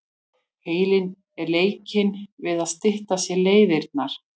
Heilinn er leikinn við að stytta sér leiðirnar.